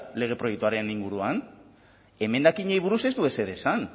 lege proiektuaren inguruan emendakinei buruz ez du ezer esan